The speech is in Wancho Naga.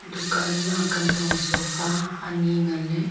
dukan ma kantong sofa anyi ngan le.